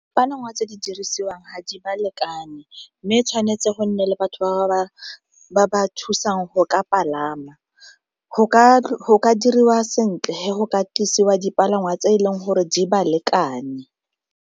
tse di dirisiwang ga di ba lekane mme tshwanetse go nne le batho ba ba thusang go ka palama, go ka diriwa sentle go ka tlisiwa dipalangwa tse e leng gore di ba lekane.